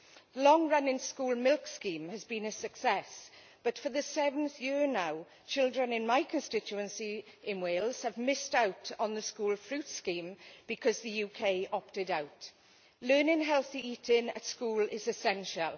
The long running school milk scheme has been a success, but for the seventh year now children in my constituency in Wales have missed out on the school fruit scheme because the UK opted out. Learning healthy eating at school is essential.